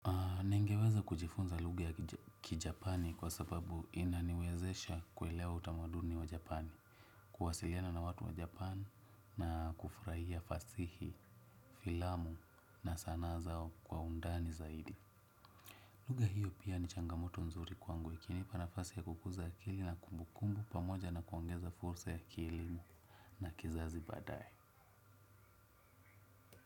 Ningeweza kujifunza lugha ya kijapani kwa sababu inaniwezesha kuelea utamaduni wa japani. Kuwasiliana na watu wa japani na kufurahia fasihi, filamu na sanaa zao kwa undani zaidi. Lugha hiyo pia ni changamoto nzuri kwangu ikinipa nafasi ya kukuza ya akili na kumbukumbu pamoja na kuongeza fursa ya kielimu na kizazi baadaye.